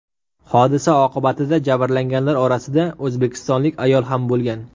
Hodisa oqibatida jabrlanganlar orasida o‘zbekistonlik ayol ham bo‘lgan.